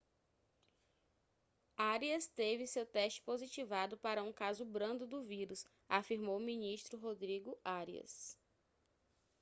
arias teve seu teste positivado para um caso brando do vírus afirmou o ministro rodrigo arias